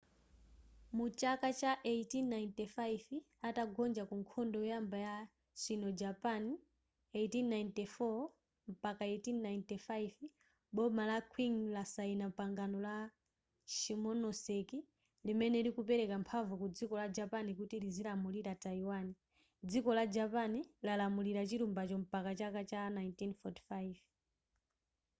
mu chaka cha 1895 atagonja ku nkhondo yoyamba ya sino-japan 1894-1895 boma la qing lasayina pangano la shimonoseki limene likupereka mphamvu ku dziko la japan kuti lizilamulira taiwan dziko la japan lalamulira chilumbacho mpaka chaka cha 1945